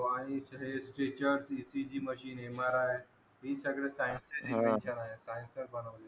mri त हे सगळे scinece चे च इन्व्हेंशन आहे